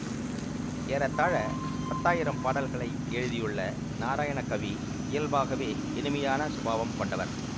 ஏறத்தாழ பத்தாயிரம் பாடல்களை எழுதியுள்ள நாராயணகவி இயல்பாகவே இனிமையான சுபாவம் கொண்டவர்